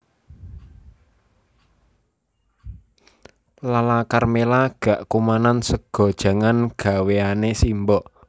Lala Karmela gak kumanan sega jangan gawenane simbok